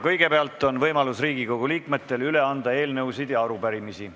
Kõigepealt on Riigikogu liikmetel võimalus üle anda eelnõusid ja arupärimisi.